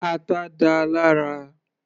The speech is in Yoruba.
Ata dáa lára.